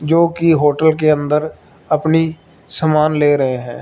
जो कि होटल के अंदर अपनी समान ले रहे है।